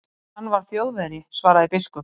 Hann var Þjóðverji, svaraði biskup.